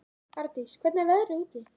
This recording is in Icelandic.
Ardís, hvernig er veðrið úti?